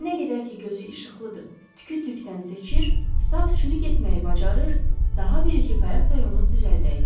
Nə qədər ki gözü işıqlıdır, tükü tükdən seçir, saf çürük etməyi bacarır, daha bir iki qayaq da yonub düzəldəydi.